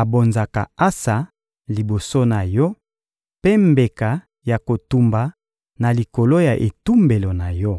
abonzaka ansa liboso na Yo, mpe mbeka ya kotumba na likolo ya etumbelo na Yo.